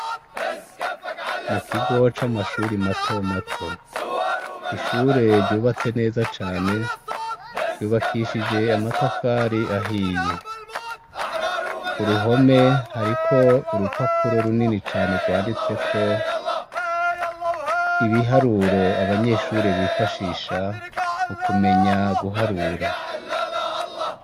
Mu kigo c'amashure mato mato, ishure ryubatse neza cane, ryubakishije amatafari ahiye. Ku ruhome hariko urupapuro runini cane rwanditseko ibiharuro abanyeshure bifashisha mu kumenya guharura.